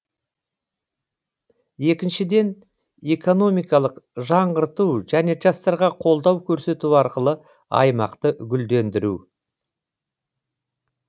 екіншіден экономикалық жаңғырту және жастарға қолдау көрсету арқылы аймақты гүлдендіру